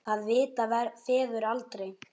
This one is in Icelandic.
Það vita feður aldrei.